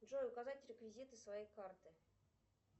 джой указать реквизиты своей карты